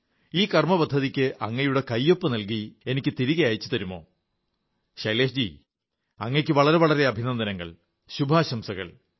ഈ കാര്യപരിപാടിയ്ക്ക്് അങ്ങയുടെ കൈയൊപ്പു നൽകി എനിക്ക് തിരികെ അയച്ചു തരാമോ ശൈലേഷ് ജീ അങ്ങയ്ക്ക് വളരെ വളരെ അഭിനന്ദനങ്ങൾ ശുഭാശംസകൾ